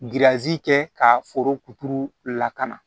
kɛ ka foro kuturu lakana